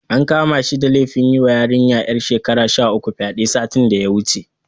An kama shi da laifin yiwa yarinya ƴar shekara sha uku fyaɗe, satin da ya wuce.